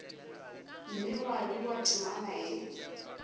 mme gwa bewa temana ye